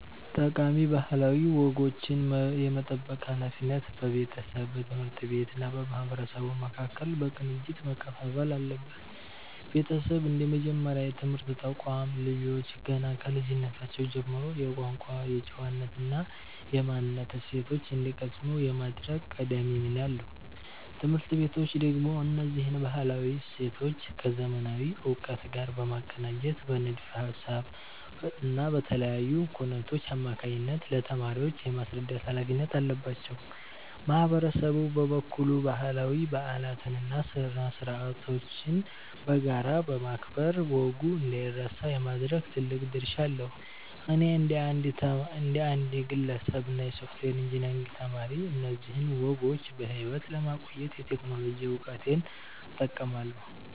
ጠቃሚ ባህላዊ ወጎችን የመጠበቅ ሃላፊነት በቤተሰብ፣ በትምህርት ቤቶች እና በማህበረሰቡ መካከል በቅንጅት መከፋፈል አለበት። ቤተሰብ እንደ መጀመሪያ የትምህርት ተቋም፣ ልጆች ገና ከልጅነታቸው ጀምሮ የቋንቋ፣ የጨዋነት እና የማንነት እሴቶችን እንዲቀስሙ የማድረግ ቀዳሚ ሚና አለው። ትምህርት ቤቶች ደግሞ እነዚህን ባህላዊ እሴቶች ከዘመናዊ እውቀት ጋር በማቀናጀት በንድፈ ሃሳብ እና በተለያዩ ኩነቶች አማካኝነት ለተማሪዎች የማስረዳት ሃላፊነት አለባቸው። ማህበረሰቡ በበኩሉ ባህላዊ በዓላትን እና ስነ-ስርዓቶችን በጋራ በማክበር ወጉ እንዳይረሳ የማድረግ ትልቅ ድርሻ አለው። እኔ እንደ አንድ ግለሰብ እና የሶፍትዌር ኢንጂነሪንግ ተማሪ፣ እነዚህን ወጎች በሕይወት ለማቆየት የቴክኖሎጂ እውቀቴን እጠቀማለሁ።